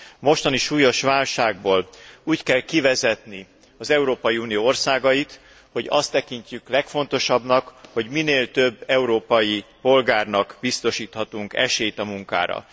A mostani súlyos válságból úgy kell kivezetni az Európai Unió országait, hogy azt tekintjük legfontosabbnak, hogy minél több európai polgárnak biztosíthatunk esélyt a munkára.